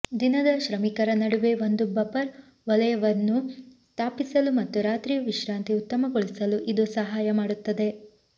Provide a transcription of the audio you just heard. ದಿನದ ಶ್ರಮಿಕರ ನಡುವೆ ಒಂದು ಬಫರ್ ವಲಯವನ್ನು ಸ್ಥಾಪಿಸಲು ಮತ್ತು ರಾತ್ರಿಯ ವಿಶ್ರಾಂತಿ ಉತ್ತಮಗೊಳಿಸಲು ಇದು ಸಹಾಯ ಮಾಡುತ್ತದೆ